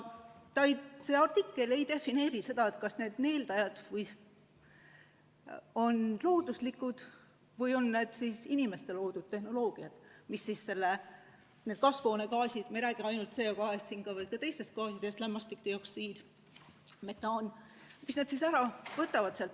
See artikkel ei defineeri, kas need sidujad on looduslikud või on need inimeste loodud tehnoloogiad, mis need kasvuhoonegaasid – me ei räägi ainult CO2-st, vaid ka teistest gaasidest, näiteks lämmastikdioksiidist, metaanist – õhust ära võtavad.